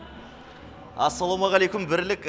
ассалаумағалейкүм бірлік